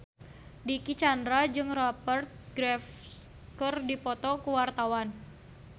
Dicky Chandra jeung Rupert Graves keur dipoto ku wartawan